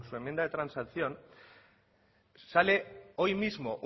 enmienda de transacción sale hoy mismo